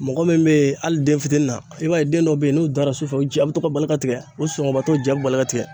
Mɔgɔ min be ye hali den fitini na i b'a ye den dɔ be ye n'u dara sufɛ u ja be to ka bali ka tigɛ, u sɔnɔgɔbagatɔ ja be bali ka tigɛ